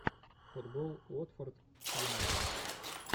футбол уотфорд с юнайтед